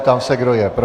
Ptám se, kdo je pro.